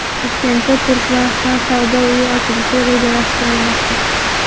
Toshkentda Turkmaniston savdo uyi ochilishi rejalashtirilmoqda.